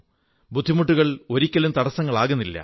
ബുദ്ധിമുട്ടുകൾ ഒരിക്കലും തടസ്സങ്ങളാകില്ല